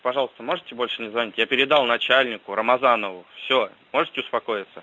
пожалуйста можете больше не звонить я передал начальнику рамазанову все можете успокоиться